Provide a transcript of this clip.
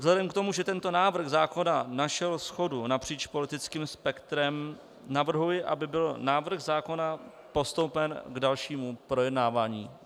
Vzhledem k tomu, že tento návrh zákona našel shodu napříč politickým spektrem, navrhuji, aby byl návrh zákona postoupen k dalšímu projednávání.